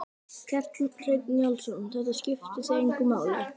Kjartan Hreinn Njálsson: Þetta skiptir þig engu máli?